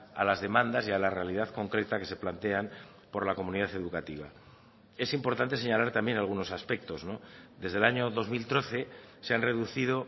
a las demandas y a la realidad concreta que se plantean por la comunidad educativa es importante señalar también algunos aspectos desde el año dos mil trece se han reducido